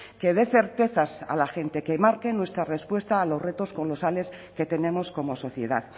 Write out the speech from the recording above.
que dé certezas a la gente que marque nuestra respuesta a los retos colosales que tenemos como sociedad